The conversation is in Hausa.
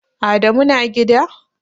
Adamu na gida?